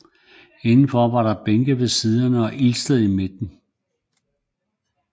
Indenfor var der bænke ved siderne og ildsted i midten